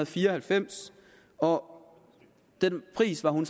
fire og halvfems og den pris var hun